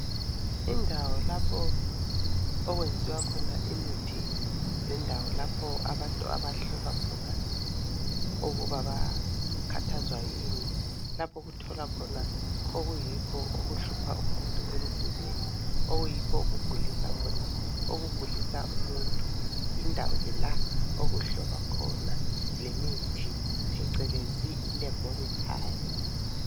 Indawo lapho okwenziwa khona imithi lendawo lapho abantu ahlolwa khona ukuba bakhathazwa yini. Lapho okutholwa khona okuyikho okuhlupha umuntu emzimbeni okuyikho okugulisa khona, okugulisa umuntu, yindawo ke la okuhlolwa khona lemithi phecelezi i"Laboratory".